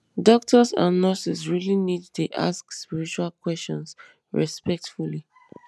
doctors and nurses really need dey ask spiritual questions respectfully